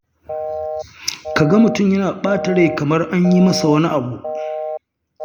Ka ga mutum yana ta ɓata rai kamar an yi masa wani abu.